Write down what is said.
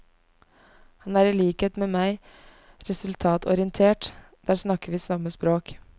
Han er i likhet med meg resultatorientert, der snakker vi samme språk.